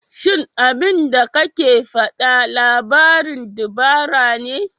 Shin abinda kake faɗa labarin dabara ne?